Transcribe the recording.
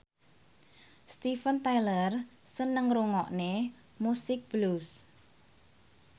Steven Tyler seneng ngrungokne musik blues